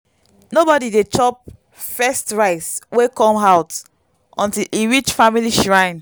nobody dey chop first rice wey come out until e reach family shrine.